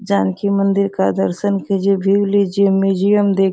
जानकी मंदिर का दर्शन कीजिए व्‍यू लीजिए म्‍यूजियम दे --